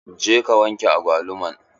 Je ka wanke agwaluman!